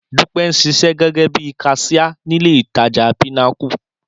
Dúpẹ́ ń ṣiṣẹ́ gẹ́gẹ́ bí kaṣíá nílé-ìtajà Pinnacle